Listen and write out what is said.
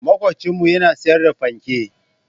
Makwabcinmu yana sayar da fanke.